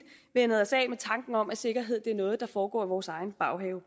vænnet os af med tanken om at sikkerhed er noget der foregår i vores egen baghave